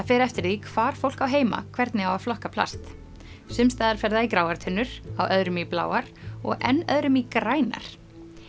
fer eftir því hvar fólk á heima hvernig á að flokka plast sums staðar fer það í gráar tunnur á öðrum í bláar og enn öðrum í grænar